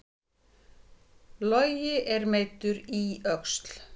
Logi er meiddur í öxl